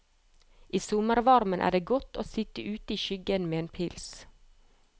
I sommervarmen er det godt å sitt ute i skyggen med en pils.